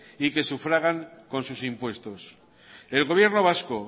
y que sufragan con sus impuestos el gobierno vasco